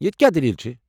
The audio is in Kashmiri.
یتہِ کیٚاہ دٔلیٖل چھِ؟